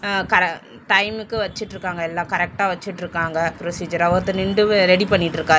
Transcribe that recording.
அ கர டைமுக்கு வச்சிட்ருக்காங்க எல்லா கரெக்டா வச்சிட்ருக்காங்க ப்ரொசீஜரா ஒருத்தர் நின்டு ரெடி பண்ணிட்ருக்காரு.